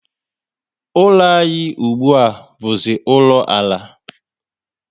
Ụlọ anyị ùgbúà buzi ụlọ ala